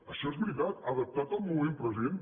això és veritat adaptat al moment present